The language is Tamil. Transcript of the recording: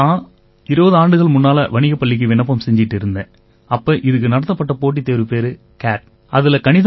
சார் நான் 20 ஆண்டுகள் முன்னால வணிகப்பள்ளிக்கு விண்ணப்பம் செஞ்சுக்கிட்டு இருந்தேன் அப்ப இதுக்கு நடத்தப்பட்ட போட்டித் தேர்வு பேரு கேட்